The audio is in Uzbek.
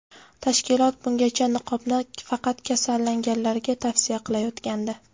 Tashkilot bungacha niqobni faqat kasallanganlarga tavsiya qilayotgandi.